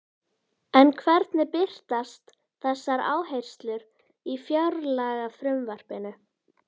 En hvernig birtast þessar áherslur í fjárlagafrumvarpinu?